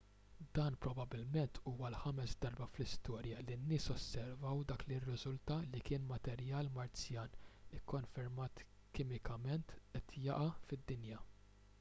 dan probabbilment huwa l-ħames darba fl-istorja li n-nies osservaw dak li rriżulta li kien materjal marzjan ikkonfermat kimikament qed jaqa' fid-dinja